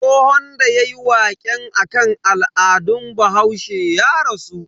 Tsohon da yayi waƙe akan al'adun bahaushe ya rasu.